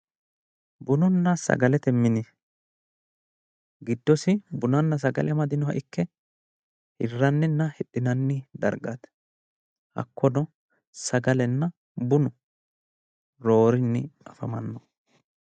Bununna sagalete mine. Giddosi Bununna sagalete amadinoha ikke hirranninna hidhinanni dargaati hakkono sagalenna bunu roorinni afamannoha ikkanno.